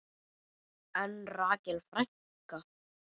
En Rakel frænka?